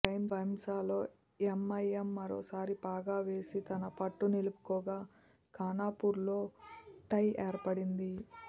భైంసాలో MIM మరోసారి పాగా వేసి తన పట్టు నిలుపుకోగా ఖానాపూర్లో టై ఏర్పడింది